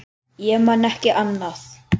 Ég man ekki annað.